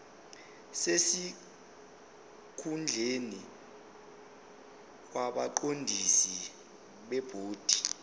sesikhundleni kwabaqondisi bebhodi